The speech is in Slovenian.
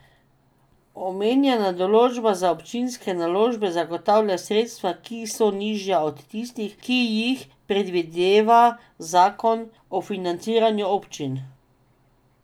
Omenjena določba za občinske naložbe zagotavlja sredstva, ki so nižja od tistih, ki jih predvideva zakon o financiranju občin.